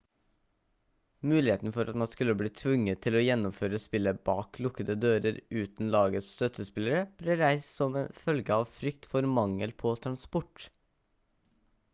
muligheten for at man skulle bli tvunget til å gjennomføre spillet bak lukkede dører uten lagets støttespillere ble reist som følge av frykt for mangel på transport